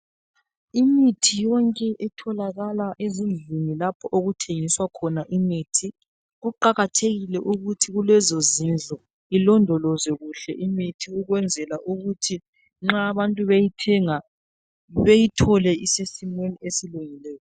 Imithi yonke etholakala ezindlini lapho okuthengiswa khona imithi kuqakathekile ukuthi kulezozindlu ilondolozwe kuhle imithi ukwenzela ukuthi nxa abantu beyithenga beyithole isesimweni esilungileyo.